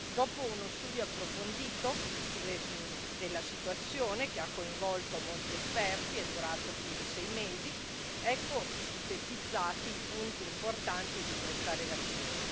Dopo uno studio approfondito della situazione, che ha coinvolto molti esperti ed è durato più di sei mesi, ecco sintetizzati i punti importanti di questa relazione.